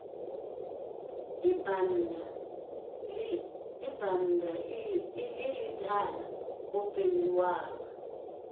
ibannda ii idala o penndelwa